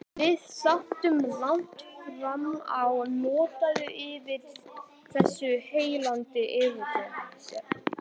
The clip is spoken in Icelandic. Við sátum langt framá nótt yfir þessu heillandi viðfangsefni.